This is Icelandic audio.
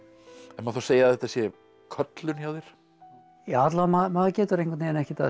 má þá segja að þetta sé köllun hjá þér alla vega maður getur einhvern veginn ekkert að þessu